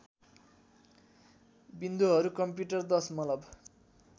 विन्दुहरू computer दशमलव